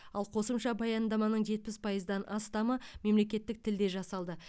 ал қосымша баяндаманың жетпіс пайыздан астамы мемлекеттік тілде жасалды